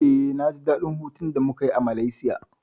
Eh, na ji daɗin hutun da muka yi a Malaysia.